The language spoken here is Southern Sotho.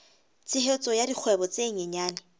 tshehetso ya dikgwebo tse nyenyane